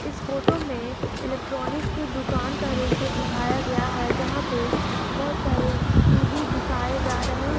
इस फोटो में इलेक्ट्रॉनिक दुकान का दृश्य दिखाया गया है जहां पे बहुत सारे टी_वी दिखाई जा रहे हैं।